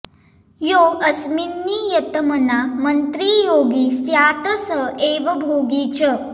योऽस्मिन्नियतमना मन्त्री योगी स्यात् स एव भोगी च